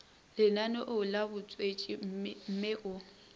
lenaneong la botswetši mme o